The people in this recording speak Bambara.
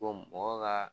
mɔgɔ ka